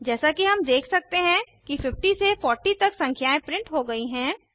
जैसा कि हम देख सकते हैं कि 50 से 40 तक संख्याएं प्रिंट हो गई हैं